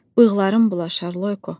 Bığların bulaşar, Loyko.